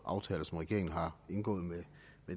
aftaler som regeringen har indgået med